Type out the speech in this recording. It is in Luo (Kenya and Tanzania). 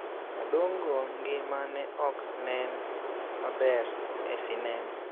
Adongo ngima ne ok nen maber e sinema.